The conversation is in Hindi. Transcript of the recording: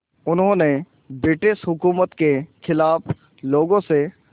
उन्होंने ब्रिटिश हुकूमत के ख़िलाफ़ लोगों से